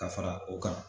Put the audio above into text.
Ka fara o kan